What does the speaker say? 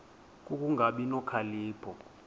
ku kungabi nokhalipho